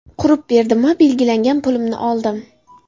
Qurib berdim va belgilangan pulimni oldim.